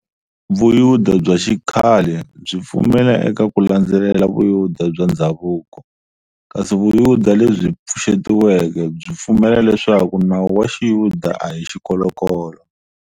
Vuyuda bya xikhale byi pfumela eka ku landzelela vuyuda bya ndzhavuko, kasi vuyuda lebyi pfuxetiweke, byi pfumela leswaku nawu wa xiyuda ahi xikolokolo.